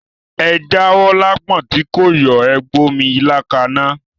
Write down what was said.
Ẹ jáwó lápọ̀n tí kò yọ̀, Ẹ gbómí ilá kaná.